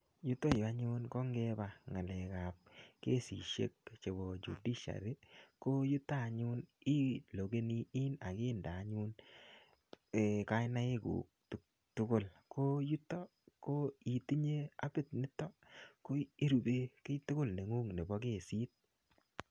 Yutoyu anyun, ko ngeba ng'alekap kesisiek chebo judiciary, ko yutok anyun ilogeni in akinde anyun um kainaik kuk tugul. Ko yutok, ko itinye appit niton, ko irube kiy tugul neng'ung' nebo kesit.